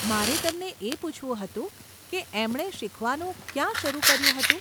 મારે તમને એ પૂછવું હતું કે એમણે શીખવાનું ક્યાં શરુ કર્યું હતું?